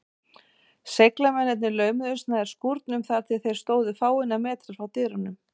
Seglamennirnir laumuðust nær skúrnum, þar til þeir stóðu fáeina metra frá dyrunum.